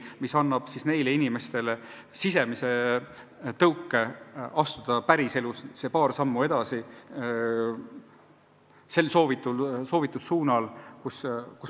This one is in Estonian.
Ja see annab neile inimestele sisemise tõuke astuda päriselus need paar sammu edasi sel soovitud suunal.